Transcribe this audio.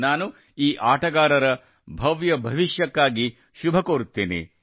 ನಾನು ಈ ಆಟಗಾರರ ಭವ್ಯ ಭವಿಷ್ಯಕ್ಕಾಗಿ ಶುಭ ಕೋರುತ್ತೇನೆ